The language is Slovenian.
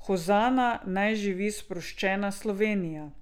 Hozana, naj živi sproščena Slovenija.